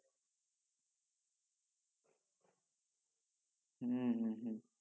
হম হম